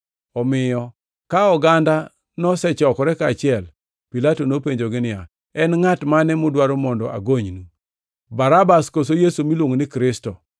Omiyo ka oganda nosechokore kaachiel, Pilato nopenjogi niya, “En ngʼat mane mudwaro mondo agonynu: Barabas koso Yesu miluongo ni Kristo?”